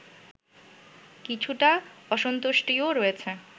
কিছুটা অসন্তুষ্টিও রয়েছে